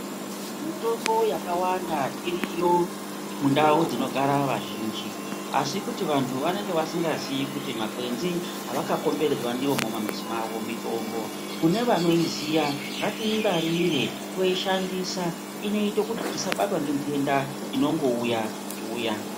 Mitombo yakawanda iriyo mundau dzinogara vazhinji, asi kuti vantu vanenge vasingazii kuti makwenzi avakakomberedzwa ndiwo mumamizi mavo mitombo. Kune vanoiziya, ngatiingwarire toishandisa, inoita kuti tisabatwa ngendenda inongouya-uya.